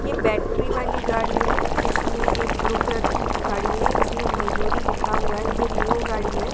ये बैटरी वाली गाड़ी है जिसमें एक ब्लू कलर की गाड़ी है इसमें मयूरी लिखा हुआ है ये न्यू गाड़ी है।